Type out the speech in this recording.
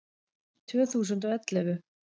Tvö þúsund og ellefu